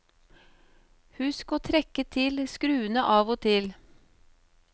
Husk å trekke til skruene av og til.